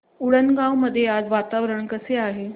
उंडणगांव मध्ये आज वातावरण कसे आहे